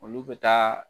Olu bɛ taa